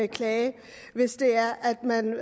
klage hvis det er at man